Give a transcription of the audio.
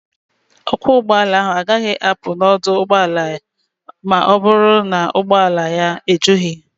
Ọkwọ ụgbọala ahụ agaghị apụ n'ọdụ ụgbọala a ma ọ bụrụ na ụgbọala ya ejughị.